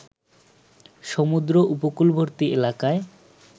সমুদ্র উপকূলবর্তী এলাকায়